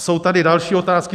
Jsou tady další otázky.